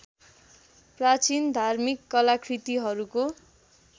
प्राचीन धार्मिक कलाकृतिहरूको